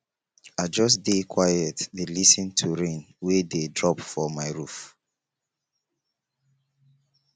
i just dey quiet dey lis ten to rain wey dey drop for my roof